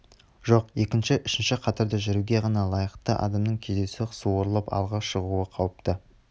жоқ екінші үшінші қатарда жүруге ғана лайықты адамның кездейсоқ суырылып алға шығуы қауіпті